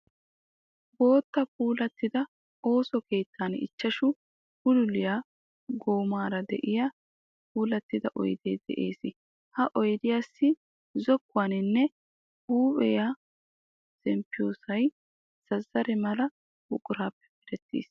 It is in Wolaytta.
Bootta puulattida ooso keettan ichchashu bululiyaa goomaara de'iyaa puulattida oyidee de'es. Ha oyidiyaassi zokkuwaanne huuphiyaa zempissiyoosayi zazzare mera buquraappe merettis.